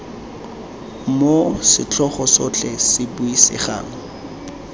moo setlhogo sotlhe se buisegang